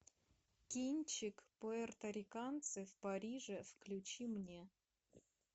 кинчик пуэрториканцы в париже включи мне